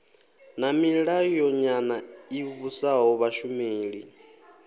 na milayonyana i vhusaho vhashumeli